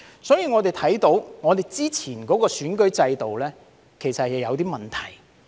所以，我們看到之前的選舉制度其實是有問題。